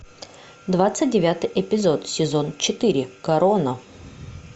двадцать девятый эпизод сезон четыре корона